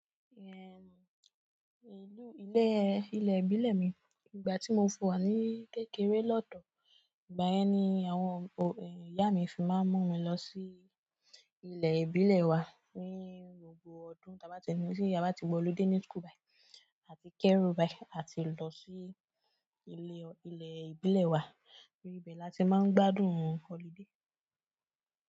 Ehn, ìlú-- ilé, ilẹ̀ ìbílẹ̀ mi, ìgbà tí mo fi wa ní kékeré lọ́dọ̀, ìgbà yẹn ni àwọn, ẹ, ìyá mi fi máa ń mú mi lọ sí ilẹ̀ ìbílẹ̀ wa ní gbogbo ọdún ta bá ti nínú tí ìyá bá ti gba holiday ni school bayi àti Kẹ́rúbáì bai àti lọ sí ilé, ilẹ̀ ìbílẹ̀ wa. Ní ibẹ̀ la ti máa ń gbádùn holiday.